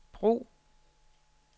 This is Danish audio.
brug